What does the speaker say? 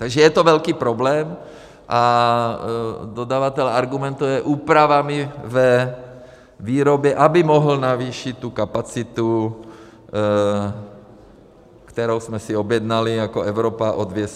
Takže je to velký problém a dodavatel argumentuje úpravami ve výrobě, aby mohl navýšit tu kapacitu, kterou jsme si objednali jako Evropa, o 200 milionů.